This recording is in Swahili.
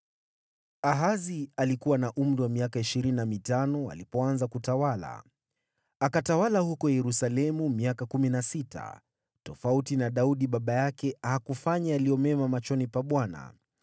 Ahazi alikuwa na miaka ishirini alipoanza kutawala. Akatawala huko Yerusalemu kwa miaka kumi na sita. Tofauti na Daudi baba yake, hakufanya yaliyo mema machoni pa Bwana .